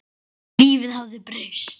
Lífið hafði breyst.